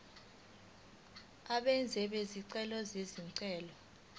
abenzi bezicelo izicelo